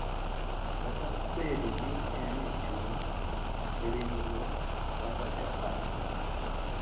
Kata obedo ni en e chuny, e ringruok, kata e paro, .